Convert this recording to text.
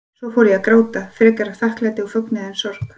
Svo fór ég að gráta, frekar af þakklæti og fögnuði en sorg.